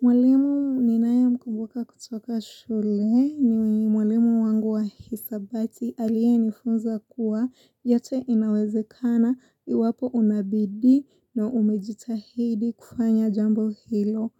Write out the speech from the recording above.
Mwalimu ninayemkubuka kutoka shule ni mwalimu wangu wa hisabati aliye nifunza kuwa yote inawezekana iwapo una bidii na umejitahidi kufanya jambo hilo.